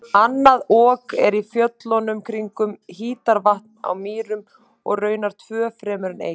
Annað Ok er í fjöllunum kringum Hítarvatn á Mýrum og raunar tvö fremur en eitt.